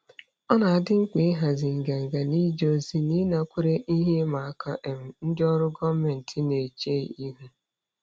Ọ dị mkpa ịhazi nganga n'ije ozi na ịnakwere ihe ịma aka um ndị ọrụ gọọmentị na-eche ihu.